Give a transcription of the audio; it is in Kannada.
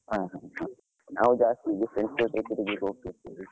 ಹ ಹ ಹ, ನಾವ್ ಜಾಸ್ತಿ ಹೀಗೆ friends ಜೊತೆ ತೀರ್ಗ್ಲಿಕ್ಕೆ ಹೋಗ್ತಾ ಇದ್ವಿ.